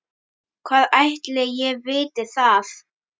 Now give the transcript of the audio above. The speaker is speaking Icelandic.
Hvað ætli ég viti það.